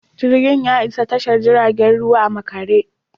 Jirgin ya isa tashar jiragen ruwa a makare.